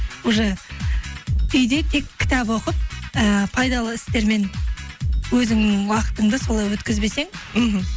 уже үйде тек кітап оқып ііі пайдалы істермен өзіңнің уақытыңды солай өткізбесең мхм